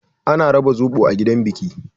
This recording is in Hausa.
Za a raba zoɓo a gidan biki.